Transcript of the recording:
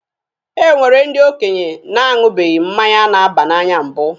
E nwere ndi okenye na-aṅụbeghị mmanya na-aba n'anya mbụ.